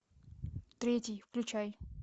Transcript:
третий включай